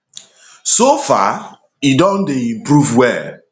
so far e don dey improve well